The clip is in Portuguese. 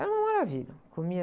Era uma maravilha. Comia...